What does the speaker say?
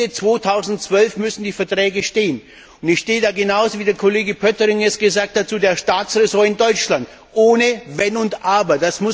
Ende 2012 müssen die Verträge stehen, und ich stehe da genauso, wie Kollege Pöttering es gesagt hat zu der Staatsraison in Deutschland, ohne Wenn und Aber.